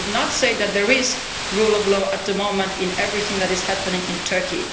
I did not say that there is rule of law at the moment in everything that is happening in Turkey.